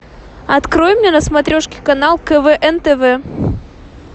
открой мне на смотрешке канал квн тв